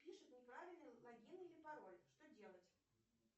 пишет неправильный логин или пароль что делать